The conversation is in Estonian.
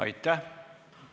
Aitäh!